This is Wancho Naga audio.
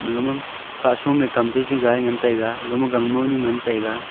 maga ma kanson ma kam gigi ga ngan taiga ga ga ma nu ngan taiga.